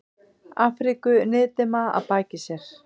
Afríku niðdimma að baki sér.